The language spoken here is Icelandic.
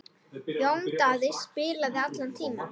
Jón Daði spilaði allan tímann.